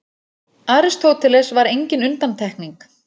Aristóteles var engin undantekning.